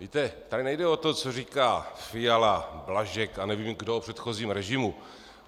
Víte, tady nejde o to, co říká Fiala, Blažek a nevím kdo o předchozím režimu.